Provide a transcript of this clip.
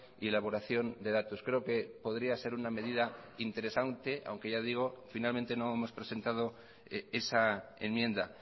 y elaboración de datos creo que podría ser una medida interesante aunque ya digo finalmente no hemos presentado esa enmienda